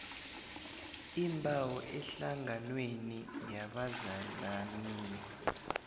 iimbawo ehlanganweni yabazalanisi